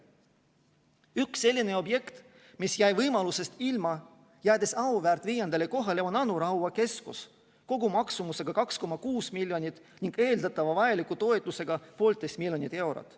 Üks selliseid objekte, mis jäi võimalusest ilma, jäädes auväärt viiendale kohale, on Anu Raua keskus kogumaksumusega 2,6 miljonit ning eeldatava vajaliku toetusega 1,5 miljonit eurot.